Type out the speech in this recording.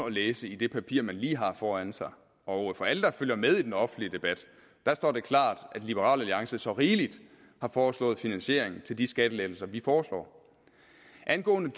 at læse i det papir man lige har foran sig og for alle der følger med i den offentlige debat står det klart at liberal alliance så rigeligt har foreslået finansiering til de skattelettelser vi foreslår angående